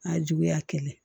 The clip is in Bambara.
A juguya kelen